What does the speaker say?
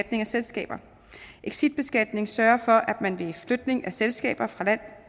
af selskaber exitbeskatning sørger for at man ved flytning af selskaber